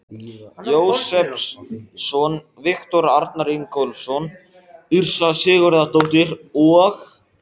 Jósepsson, Viktor Arnar Ingólfsson, Yrsa Sigurðardóttir og